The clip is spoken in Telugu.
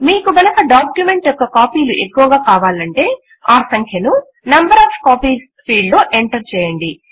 మీకు గనుక డాక్యుమెంట్ యొక్క కాపీలు ఎక్కువగా కావాలంటే ఆ సంఖ్యను నంబర్ ఒఎఫ్ కాపీస్ ఫీల్డ్ లో ఎంటర్ చేయండి